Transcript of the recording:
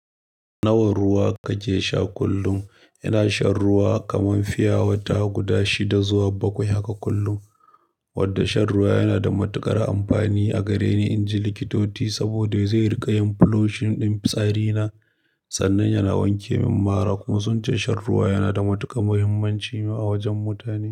Nawa ruwa kake sha kullum? Ina shan ruwa kaman fiyawata guda shida zuwa bakwai haka kullum. Wanda shan ruwa yana da matuƙar amfani a gareni in ji likitoti saboda zai riƙa yin flushing ɗin fitsari na sannan yana wanke min mara. Kuma sun ce shan ruwa yana da matuƙar muhimmanci ma a wajen mutane.